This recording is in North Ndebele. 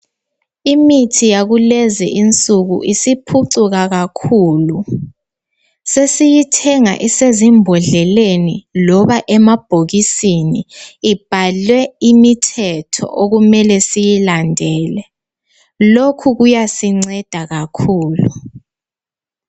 Imithi yakulezi insuku isiphucuka kakhulu .Sesiyithenga isezimbodleleni loba emabhokisini ibhalwe imithetho okumele siyilandele .Lokhu kuyasinceda kakhulu .